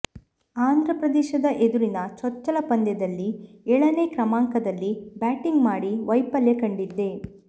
ಆಂಧ್ರಪ್ರದೇಶದ ಎದುರಿನ ಚೊಚ್ಚಲ ಪಂದ್ಯದಲ್ಲಿ ಏಳನೇ ಕ್ರಮಾಂಕದಲ್ಲಿ ಬ್ಯಾಟಿಂಗ್ ಮಾಡಿ ವೈಫಲ್ಯ ಕಂಡಿದ್ದೆ